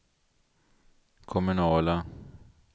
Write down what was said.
kommunala